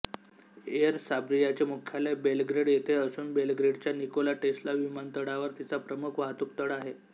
air सर्बियाचे मुख्यालय Belgrade येथे असून बेलग्रेडच्या निकोला टेस्ला विमानतळावर तिचा प्रमुख वाहतूकतळ आहे